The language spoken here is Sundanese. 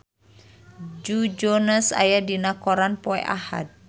Joe Jonas aya dina koran poe Ahad